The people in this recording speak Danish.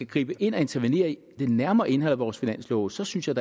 gribe ind og intervenere i det nærmere indhold i vores finanslove så synes jeg